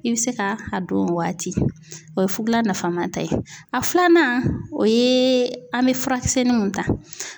I bɛ se ka a don o waati o ye fugulan nafama ta ye a filanan o ye an bɛ furakisɛnnin mun ta.